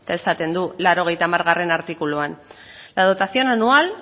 eta esaten du laurogeita hamar artikuluan la dotación anual